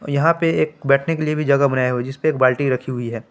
यहां पे एक बैठने के लिए भी जगह बनाया हुआ है जीसपे एक बाल्टी रखी हुई है।